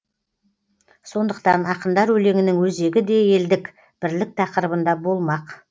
сондықтан ақындар өлеңінің өзегі де елдік бірлік тақырыбында болмақ